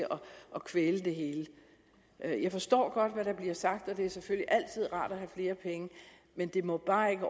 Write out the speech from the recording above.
at kvæle det hele jeg jeg forstår godt hvad der bliver sagt og det er selvfølgelig altid rart at have flere penge men det må bare ikke